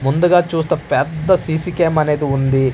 ముందుగా చూస్తే పెద్ద సిసి కేమ్ అనేది ఉంది.